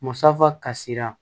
Musafa kasira